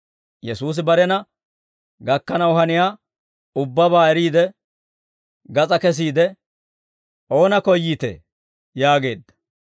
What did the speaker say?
Yesuusi barena gakkanaw haniyaa ubbabaa eriide, gas'aa kesiide, «Oona koyyiitee?» yaageedda.